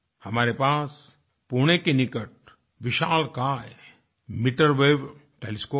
हमारे पास पुणे के निकट विशालकाय मीटर वेव टेलीस्कोप है